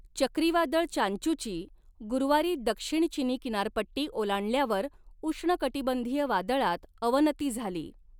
चक्रीवादळ चांचूची गुरुवारी दक्षिण चिनी किनारपट्टी ओलांडल्यावर उष्णकटिबंधीय वादळात अवनती झाली.